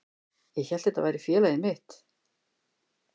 Ég hélt að þetta væri félagið mitt.